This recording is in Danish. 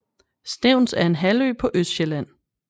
Stevns er en halvø på Østsjælland